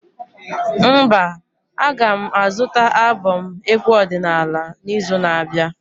Mba, a ga m azụta albọm egwu ọdịnala n'izu na-abịa